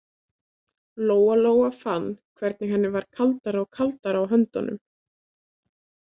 Lóa-Lóa fann hvernig henni varð kaldara og kaldara á höndunum.